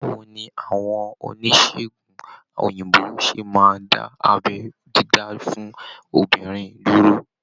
Báwo ni àwọn oníṣègùn òyìnbó ṣe máa dá abẹ́ dídá fún obìnrin dúró?